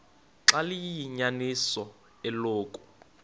xaba liyinyaniso eloku